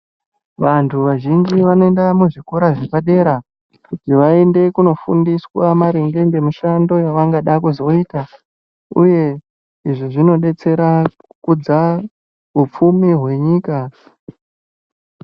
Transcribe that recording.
Vantu vazhinji vanoenda muzvikora zvepadera ,kuti vaende kunofundiswa maringe ngemishando yavangada kuzoita ,uye izvi zvinodetsera kukudza upfumi hwenyika.